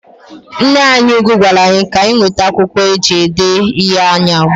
Nneanyị ugwu gwara anyị ka anyị wete akwụkwọ eji ede ihe ụnyahụ.